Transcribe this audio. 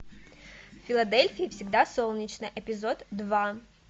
в филадельфии всегда солнечно эпизод два